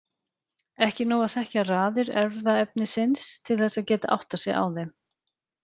Ekki er nóg að þekkja raðir erfðaefnisins til þess að geta áttað sig á þeim.